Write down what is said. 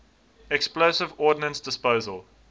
explosive ordnance disposal